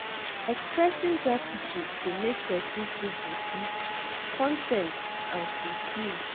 Expressing gratitude dey make pesin feel happy, con ten t and fulfilled.